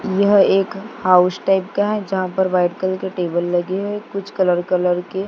यह एक house tag का है जहां पर वाइट कलर के टेबल लगे हैं कुछ कलर कलर के--